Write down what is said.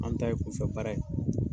Maa min ta ye kunfɛ baara ye